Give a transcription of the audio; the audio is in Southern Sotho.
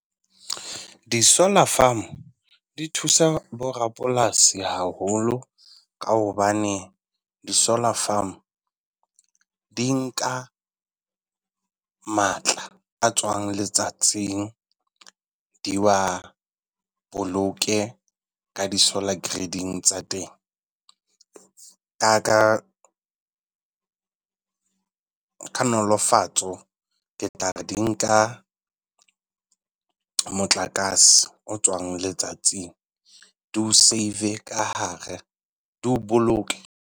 Di-solar farm di thusa bo rapolasi haholo ka hobane, di-solar farm di nka matla a tswang letsatsing di wa boloke ka di-solar grading tsa teng ka ka ka nolofatswo ke tla re di nka motlakase o tswang letsatsing di o save-e ka hare, di o boloke.